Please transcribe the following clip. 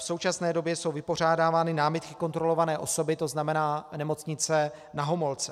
V současné době jsou vypořádávány námitky kontrolované osoby, to znamená Nemocnice Na Homolce.